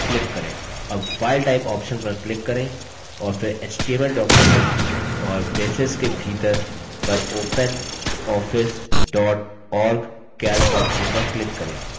अब file type option पर click करें और फिर html document और braces के भीतर पर openoffice dot org calc option पर click करें